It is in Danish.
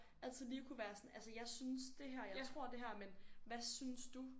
Altid lige kunne være sådan altså jeg synes det her og jeg tror det her men hvad synes du?